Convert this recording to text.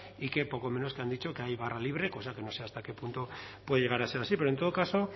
y que poco menos que han dicho que hay barra libre cosa que no sé hasta qué punto puede llegar a ser así pero en todo caso